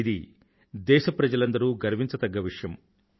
ఇది దేశప్రజలందరూ గర్వించదగ్గ విషయం